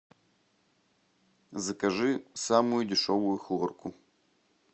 закажи самую дешевую хлорку